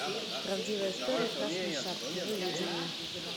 правдивая история красной шапки выведи мне